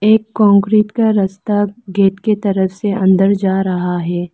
एक कंक्रीट का रस्ता गेट के तरफ से अंदर जा रहा है।